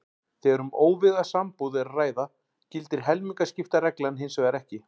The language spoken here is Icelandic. Þegar um óvígða sambúð er að ræða gildir helmingaskiptareglan hins vegar ekki.